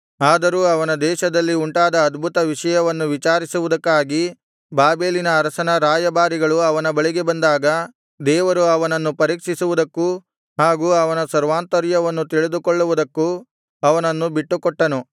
ಆದರೂ ಅವನ ದೇಶದಲ್ಲಿ ಉಂಟಾದ ಅದ್ಭುತ ವಿಷಯವನ್ನು ವಿಚಾರಿಸುವುದಕ್ಕಾಗಿ ಬಾಬೆಲಿನ ಅರಸನ ರಾಯಭಾರಿಗಳು ಅವನ ಬಳಿಗೆ ಬಂದಾಗ ದೇವರು ಅವನನ್ನು ಪರೀಕ್ಷಿಸುವುದಕ್ಕೂ ಹಾಗು ಅವನ ಸರ್ವಾಂತರ್ಯವನ್ನು ತಿಳಿದುಕೊಳ್ಳುವುದಕ್ಕೂ ಅವನನ್ನು ಬಿಟ್ಟುಕೊಟ್ಟನು